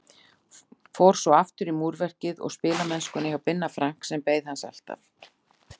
Fór svo aftur í múrverkið og spilamennskuna hjá Binna Frank sem beið hans alltaf.